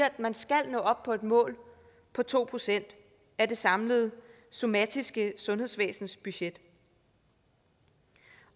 at man skal nå op på et mål på to procent af det samlede somatiske sundhedsvæsens budget